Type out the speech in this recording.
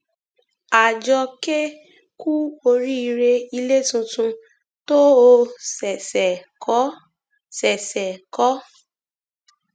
àjọké ku oríire ilé tuntun tó o ṣẹṣẹ kọ ṣẹṣẹ kọ